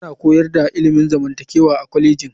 Ana koyar da ilimin zamantakewa a kwalejin.